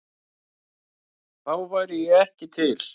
Þá væri ég ekki til?